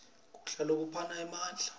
kudla lokuphana emandla